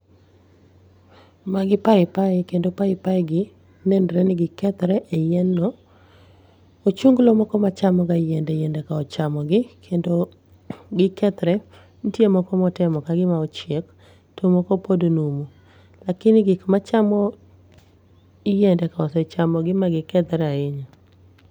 Magi pai pai kendo paipaigi nenore ni gi kethre e yien no. Ochunglo moko ma chamo ga yiende yiende ka ochamo gi ma gikethre. Nitie moko ma okethre ka ochiek to moko pod numu lakini gik machamo yiende ka ose chamogi ma gikethre ahinya.